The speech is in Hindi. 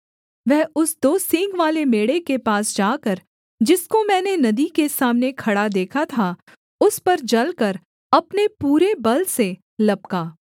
वह उस दो सींगवाले मेढ़े के पास जाकर जिसको मैंने नदी के सामने खड़ा देखा था उस पर जलकर अपने पूरे बल से लपका